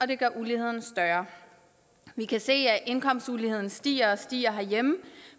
det gør uligheden større vi kan se at indkomstuligheden stiger og stiger herhjemme